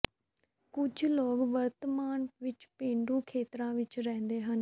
ਕੁਝ ਲੋਕ ਵਰਤਮਾਨ ਵਿੱਚ ਪੇਂਡੂ ਖੇਤਰਾਂ ਵਿੱਚ ਰਹਿੰਦੇ ਹਨ